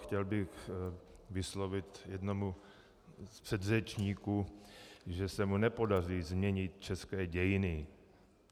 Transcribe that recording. Chtěl bych vyslovit jednomu z předřečníků, že se mu nepodaří změnit české dějiny.